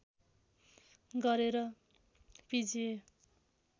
गरे र पिजिए